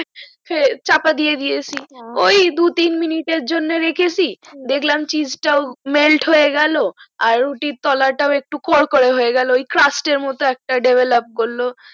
চাপা দিয়া দিয়েছে হা ওই দু তিন মিনিট আর জন্য রেখেছি দেখলাম cheese হটাও melt হয়ে গেল আর রুটির তোলা টা একটু কড়কড়া হয়ে গেলো cruast এর মতো একটা develop করলো